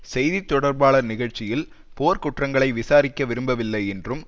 செய்தி தொடர்பாளர் நிகழ்ச்சியில் போர்க்குற்றங்களை விசாரிக்க விரும்பவில்லை என்றும்